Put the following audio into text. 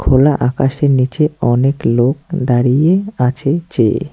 খোলা আকাশের নীচে অনেক লোক দাঁড়িয়ে আছে চেয়ে।